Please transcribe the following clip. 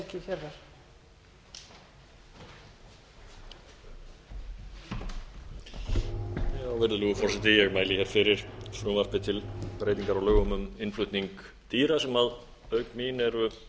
virðulegur forseti ég mæli hér fyrir frumvarpi til breytingar á lögum um innflutning dýra sem auk mín eru